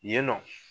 Yen nɔ